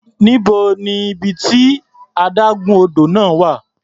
Níbo ni ibi tí adágún odò náà wà?